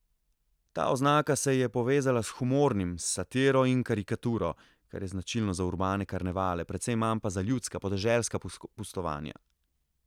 Ta oznaka se je povezala s humornim, s satiro in karikaturo, kar je značilno za urbane karnevale, precej manj pa za ljudska, podeželska pustovanja.